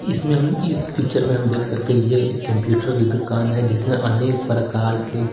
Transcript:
इसमें हम इस पिक्चर में हम देख सकते हैं ये एक कंप्यूटर की दुकान है जिसमें अनेक प्रकार के--